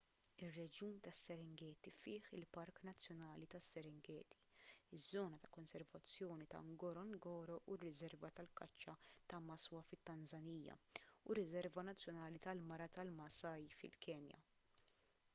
ir-reġjun tas-serengeti fih il-park nazzjonali tas-serengeti iż-żona ta' konservazzjoni ta' ngorongoro u r-riserva tal-kaċċa ta' maswa fit-tanżanija u r-riserva nazzjonali tal-mara tal-maasai fil-kenja